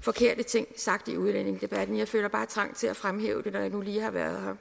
forkerte ting sagt i udlændingedebatten jeg føler bare trang til at fremhæve det når jeg nu lige har været